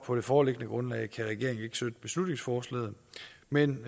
på det foreliggende grundlag kan regeringen derfor ikke støtte beslutningsforslaget men